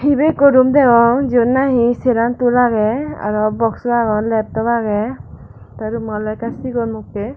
ibe ikko room degong jiben nahi seran tool agey aro boxo agey leptop agey tay rummo ole ekka sigon mokke.